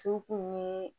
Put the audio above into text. Sukunɛ